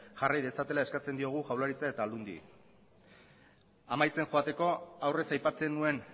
jarri dezatela eskatzen diogu jaurlaritza eta aldundiari amaitzen joateko aurrez aipatzen nuen